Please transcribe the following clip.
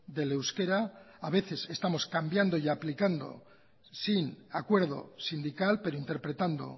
del euskera a veces estamos cambiando y aplicando sin acuerdo sindical pero interpretando